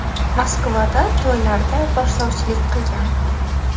Moskvada to‘ylarda boshlovchilik qilgan.